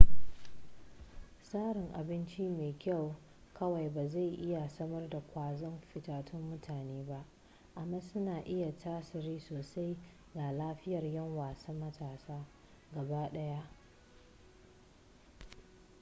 tsarin abinci mai kyau kawai ba zai iya samar da ƙwazon fitattun mutane ba amma suna iya tasiri sosai ga lafiyar 'yan wasa matasa gaba daya